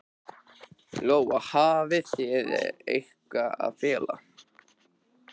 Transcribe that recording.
Lóa: Hafið þið eitthvað að fela?